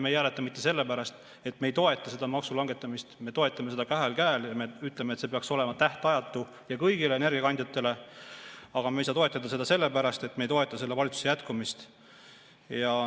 Me ei hääleta mitte sellepärast, et me ei toeta maksulangetamist – me toetame seda kahel käel ja me ütleme, et see peaks olema tähtajatu ja kõigile energiakandjatele –, vaid me ei saa toetada seda sellepärast, et me ei toeta selle valitsuse jätkamist.